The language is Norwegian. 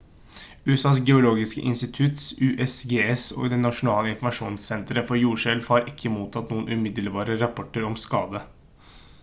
usas geologiske institutt usgs og det nasjonale informasjonssenteret for jordskjelv har ikke mottatt noen umiddelbare rapporter om skade